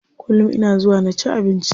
Kullum ina zuwa na ci abinci.